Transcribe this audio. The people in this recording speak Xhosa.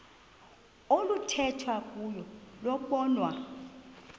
oluthethwa kuyo lobonwa